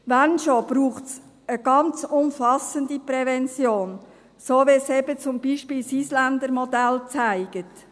Wenn, dann braucht es eine ganz umfassende Prävention, so wie es eben zum Beispiel das Isländer Modell zeigt.